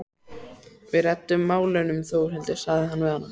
Við reddum málunum Þórhildur, sagði hann við hana.